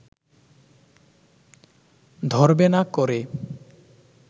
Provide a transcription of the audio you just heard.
ধরবে না করে